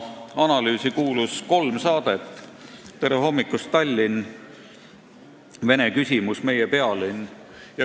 Analüüsi kuulus kolm saadet: "Tere hommikust, Tallinn!", "Vene küsimus" ja "Meie pealinn".